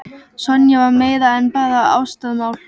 Sonja var meira en bara ástarmál.